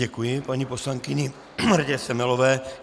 Děkuji paní poslankyni Martě Semelové.